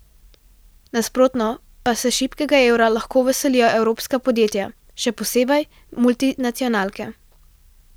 Nasprotno pa se šibkega evra lahko veselijo evropska podjetja, še posebej multinacionalke.